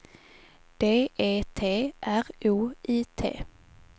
D E T R O I T